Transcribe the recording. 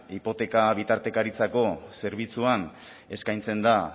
hipoteka bitartekaritzako zerbitzuan eskaintzen da